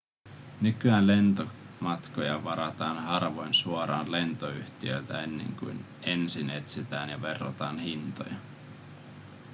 nykyään lentomatkoja varataan harvoin suoraan lentoyhtiöltä ennen kuin ensin etsitään ja verrataan hintoja